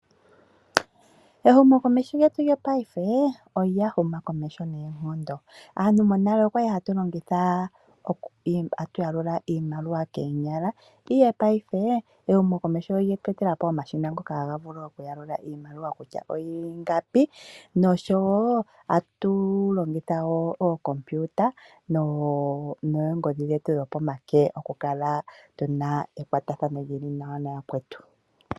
Ehumokomeho lyetu lyopaife olya huma komeho noonkondo. Aantu monale otwa li hatu longitha tatu yalula iimaliwa koonyala, ihe paife ehumokomeho olye tu etela po omashina ngoka haga yalula iimaliwa kutya oyi li ingapi noshowo tatu longitha wo ookompiuta noongodhi dhetu dhopomake okukala tu na ekwatathano li li nawa nayakwetu.